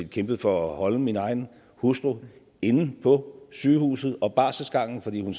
kæmpede for at holde min egen hustru inde på sygehuset og på barselsgangen fordi hun